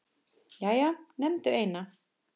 Jæja, nefndu eina